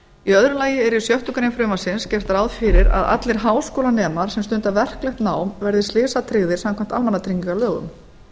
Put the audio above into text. í öðru lagi er í sjöttu greinar frumvarpsins gert ráð fyrir að allir háskólanemar sem stunda verklegt nám verði slysatryggðir samkvæmt almannatryggingalögum